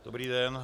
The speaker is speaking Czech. Dobrý den.